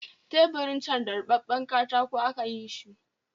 Teburin can da ribabben katako aka yi shi